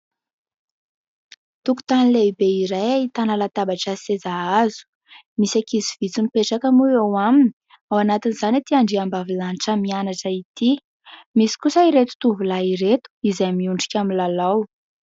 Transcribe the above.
Tokotany lehibe iray ahitana latabatra sy seza hazo, misy ankizy vitsy mipetraka moa eo aminy ; ao anatin'izany ity andriambavilanitra mianatra ity. Misy kosa ireto tovolahy ireto izay miondrika milalao.